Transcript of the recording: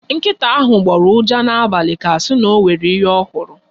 Nkịta ahụ gbọrọ ụja n'abalị ka a ga-asị na o nwere ihe ọ hụrụ.